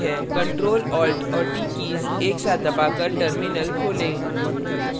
ctrl alt और t keys एक साथ दबाकर terminal खोलें